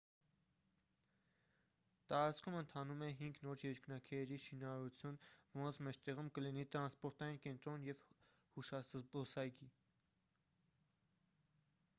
տարածքում ընթանում է հինգ նոր երկնաքերերի շինարարություն որոնց մեջտեղում կլինի տրանսպորտային կենտրոն և հուշազբոսայգի